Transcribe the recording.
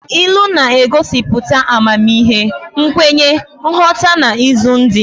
Ilu na-egosiputa amamihe, nkwenye, nghọta na izu ndi.